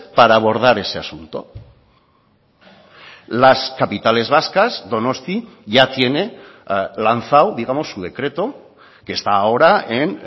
para abordar ese asunto las capitales vascas donosti ya tiene lanzado digamos su decreto que está ahora en